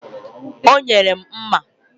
O nyere m mma.